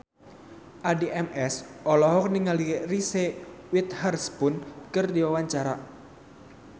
Addie MS olohok ningali Reese Witherspoon keur diwawancara